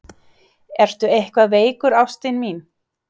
Ertu eitthvað veikur ástin mín?